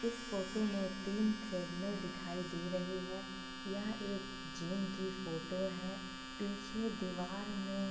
इस फोटो में तीन ट्रैड मेल दिखाई दे रहे हैं यह एक जिम की फोटो है पीछे दीवार में --